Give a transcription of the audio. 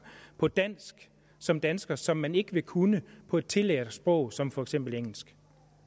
på dansk som danskere som man ikke vil kunne på et tillært sprog som for eksempel engelsk